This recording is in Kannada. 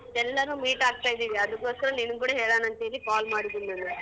ಎಲ್ಲರೂ meet ಆಗ್ತಿದಿವಿ ಅದಕ್ಕೋಸ್ಕರ ನಿನಿಗ್ ಕೂಡ ಹೇಳಣ ಅಂತ್ ಹೇಳಿ call ಮಾಡಿದೀನಿ ನಾನು.